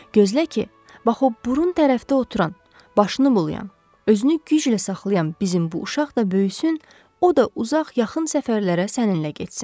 Gözlə ki, bax o burun tərəfdə oturan, başını bulayan, özünü güclə saxlayan bizim bu uşaq da böyüsün, o da uzaq-yaxın səfərlərə səninlə getsin.